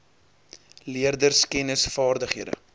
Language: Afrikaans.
leerders kennis vaardighede